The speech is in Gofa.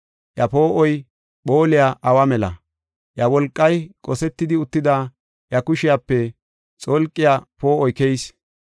Iya poo7oy phooliya awa mela; iya wolqay qosetidi uttida iya kushiyape xolqiya poo7oy keyees.